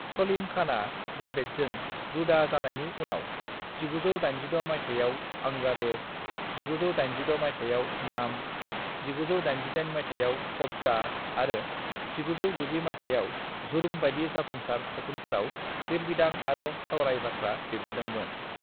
"सलीम खाना जावेदजों जुदा जानायनि उनाव 1986 माइथायाव अंगारे, 1986 माइथायाव नाम, 1988 माइथायाव कबजा आरो 1990 माइथायाव जुर्म बाइदि जाफुंसार सावथुनफोराव लिरबिदां आरो सावराय बाथ्रा लिरबोदों मोन ।"